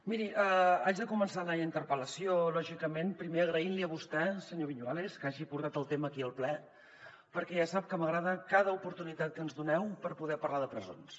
miri haig de començar la interpel·lació lògicament primer agraint li a vostè senyor viñuales que hagi portat el tema aquí al ple perquè ja sap que m’agrada cada oportunitat que ens doneu per poder parlar de presons